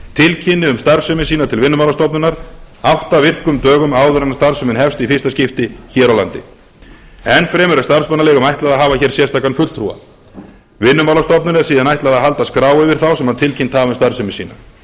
tilkynni um starfsemi sína til vinnumálastofnunar átta virkum dögum áður en starfsemin hefst í fyrsta skipti hér á landi enn fremur er starfsmannaleigum ætlað að hafa sérstakan fulltrúa vinnumálastofnun er síðan ætlað að halda skrá yfir þá sem tilkynnt hafa um starfsemi sína